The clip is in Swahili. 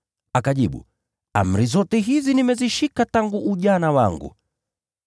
Akajibu, “Amri hizi zote nimezishika tangu nikiwa mtoto.”